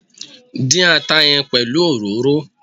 Dín ata yẹn pelu òróró!